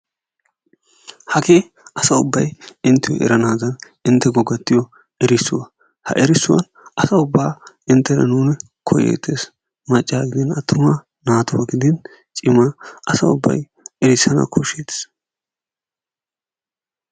Hagee asay ubbay inttiyo eranaadan inttekko gattiyo erissuwa. Ha erissuwa asa ubbaa inttena nuuni koyeettees, maccaa gidin attumaa, naatuwa gidin cimaa asa ubbay erissana koshsheettes.